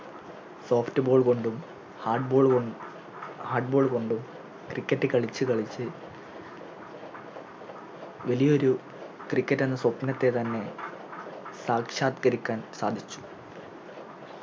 Soft ball കൊണ്ടും Hard ball കൊണ്ടും Cricket കളിച്ച് കളിച്ച് വലിയൊരു Cricket എന്ന സ്വപ്നത്തെ തന്നെ സാക്ഷാത്ക്കരിക്കാൻ സാധിച്ചു